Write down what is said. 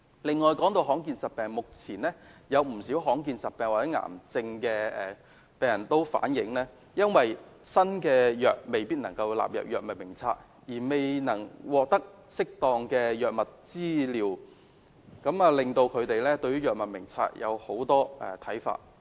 此外，談到罕見疾病，目前有不少罕見疾病或癌症的病人反映，因為新藥未能夠納入《藥物名冊》而未能獲得適當的藥物治療，令到他們對於《藥物名冊》有很多看法。